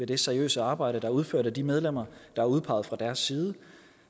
det seriøse arbejde der er udført af de medlemmer der er udpeget fra deres side